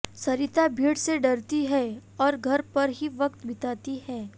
सरिता भीड़ से डरती है और घर पर ही वक्त बिताती है